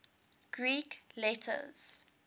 greek letters